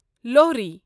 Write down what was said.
Lohri